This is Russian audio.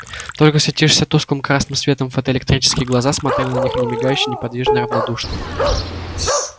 только светившиеся тусклым красным светом фотоэлектрические глаза смотрели на них немигающе неподвижно равнодушно